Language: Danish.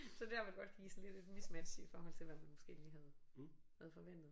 Så der må det godt give sådan lidt et mismatch i forhold til hvad man måske lige havde havde forventet